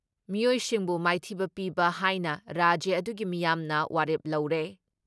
ꯃꯤꯑꯣꯏꯁꯤꯡꯕꯨ ꯃꯥꯏꯊꯤꯕ ꯄꯤꯕ ꯍꯥꯏꯅ ꯔꯥꯖ꯭ꯌ ꯑꯗꯨꯒꯤ ꯃꯤꯌꯥꯝꯅ ꯋꯥꯔꯦꯞ ꯂꯧꯔꯦ ꯫